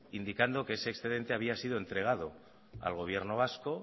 indicando que ese excedente había sido entregado al gobierno vasco